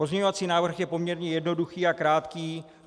Pozměňovací návrh je poměrně jednoduchý a krátký.